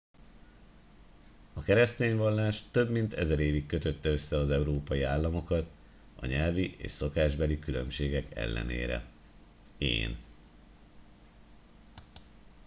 a keresztény vallás több mint ezer évig kötötte össze az európai államokat a nyelvi és szokásbeli különbségek ellenére én